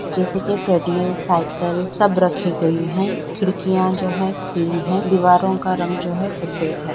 जैसे कि treadmill cycle सब रखी गई है खिड़कियां जो है खुली है दीवारों का रंग जो है सफेद है।